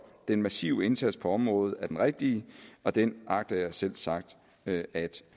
den massive indsats på området er den rigtige og den agter jeg selvsagt at